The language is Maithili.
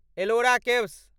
एलोरा केव्स